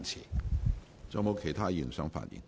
是否有其他議員想發言？